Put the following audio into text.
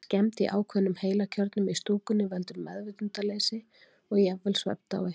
Skemmd í ákveðnum heilakjörnum í stúkunni veldur meðvitundarleysi og jafnvel svefndái.